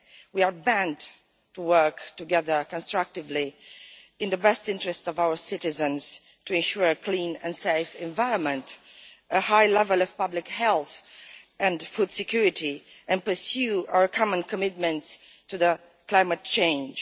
We are bound to work together constructively in the best interest of our citizens, to ensure a clean and safe environment and a high level of public health and food security, and to pursue our common commitment to the climate change.